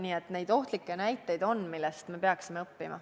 Nii et neid ohtlikke näiteid on, millest me peaksime õppima.